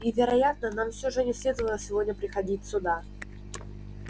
и вероятно нам все же не следовало сегодня приходить сюда